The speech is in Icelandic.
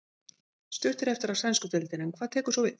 Stutt er eftir af sænsku deildinni en hvað tekur svo við?